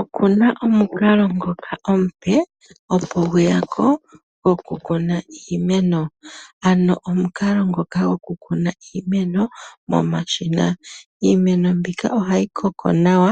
Oku na omukalo ngoka omupe opo gwe ya ko gokukuna kuna iimeno. Ano omukalo ngoka goku kuna iimeno momashina, iimeno mbika ohayi koko nawa,